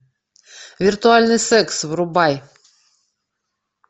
виртуальный секс врубай